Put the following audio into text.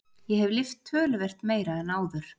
Ég hef lyft töluvert meira en áður.